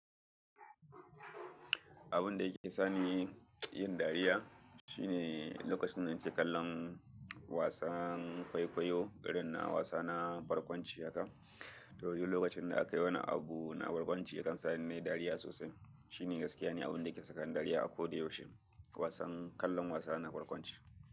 Abun da yake sani yin dariya shine lokacin da nake kallon wasan kwaikwayo, irin na wasa na barkwanci haka. To yanzu lokacin da aka yi wani abu na barkwanci kan sa ni nayi dariya sosai. Shi ne gaskiya ne abun da ke saka ni dariya a ko da yaushe kallon wasa na barkwanci.